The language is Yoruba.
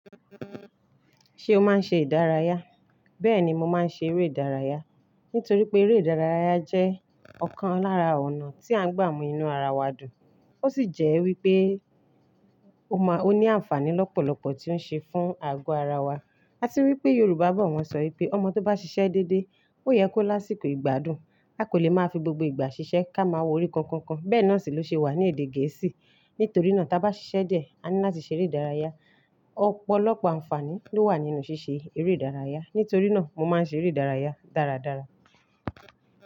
Ṣé o máa ń ṣe ìdárayá? Bẹ́ẹ̀ni mo máa ń ṣe eré ìdárayá. Nítorí pé eré ìdárayá jẹ́ ọ̀kan lára ọ̀nà tí à ń gbàmù inú ara wa dùn. Ó sì jẹ́ wípé ó máa, ó ní àǹfààní lọ́pọ̀lọpọ̀ tí ń ṣe fún àgọ́ ara wa. A ti wí i pé Yorùbá bọ̀ wọ́n sọ ìpé, ọmọ tó bá ṣiṣẹ́ dédé, ó yẹ kó lásìkò ìgbádùn. A kò lè máa fi gbogbo ìgbà ṣiṣẹ́ ká máa wo orí kankan. Bẹ́ẹ̀ náà sì ló ṣe wà ní èdè gẹ̀ẹ́sì. Nítorí náà tí a bá ṣiṣẹ́ díẹ̀, a ní láti ṣe eré ìdárayá. Ọ̀pọ̀lọpọ̀ àǹfààní ló wà nínú ṣíṣe eré ìdárayá. Nítorí náà mo máa ń ṣe eré ìdárayá dáradára.